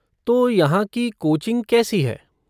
तो यहाँ की कोचिंग कैसी है?